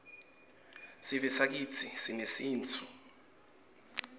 sivesakitsi sinesintfu